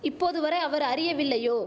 இப்போது வரை அவர் அறியவில்லையோ